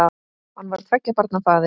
Hann var tveggja barna faðir.